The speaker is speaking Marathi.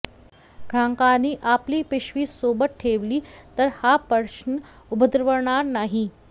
ग्राहकांनी आपली पिशवी सोबत ठेवली तर हा प्रश्न उद्भवणार नाही